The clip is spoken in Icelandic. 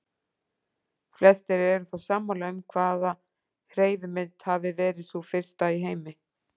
Flestir eru þó sammála um hvaða hreyfimynd hafi verið sú fyrsta í heimi.